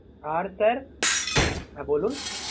আর sir হ্যাঁ বলুন